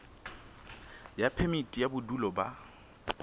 ya phemiti ya bodulo ba